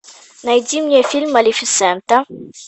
найди мне фильм малефисента